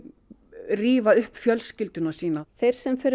rífa upp fjölskyldu sína þeir sem fyrir